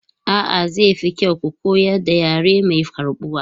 A'a, zai fi kyau ku koyar da yare mai karɓuwa.